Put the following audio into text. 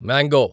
mango